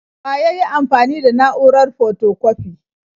Wa yayi amfani da na'urar fotokwafi?